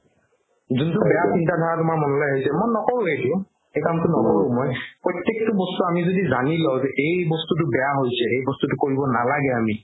জুন্তু বেয়া চিন্তা ধাৰা মনলৈ আহিছে মন নকৰোৱে সেইটো সেই কামতো নকৰো মই প্ৰতেকতো বস্তু যদি আমি জানি লও যে এই বস্তুতো বেয়া হৈছে এই বস্তুতো কৰিব নালাগে আমি